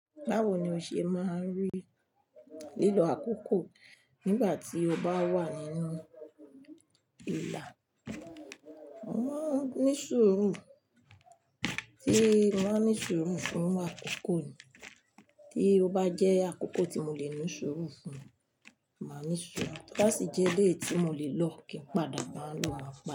Báwo ni o ṣe máa rí lílo àkókò nígbà tí o bá wà nínú ìlà? Mo máa ń ní sùúrù, tí mo bá ní sùúrù fún àkókò mi, tí ó bá jẹ́ àkókò tí mo lè ni sùúrù fún un, màá ní sùúrù, bó ti jẹ́ léè tí mo lè lọ kí n padà bá a lọ.